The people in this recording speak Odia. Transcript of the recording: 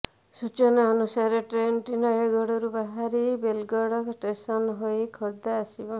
ସୂଚନା ଅନୁସାରେ ଟ୍ରେନଟି ନୟାଗଡରୁ ବାହାରି ବୋଲଗଡ଼ ଷ୍ଟେସନ୍ ହୋଇ ଖୋର୍ଦ୍ଧା ଆସିବ